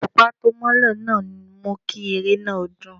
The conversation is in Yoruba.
Òṣùpá tó mọ́lẹ̀ náà mú kí eré náà dùn.